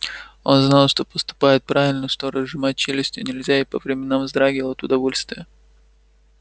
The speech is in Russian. он знал что поступает правильно что разжимать челюсти нельзя и по временам вздрагивал от удовольствия